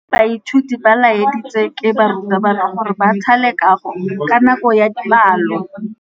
Baithuti ba laeditswe ke morutabana gore ba thale kagô ka nako ya dipalô.